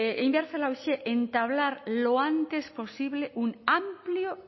egin behar zela horixe entablar lo antes posible un amplio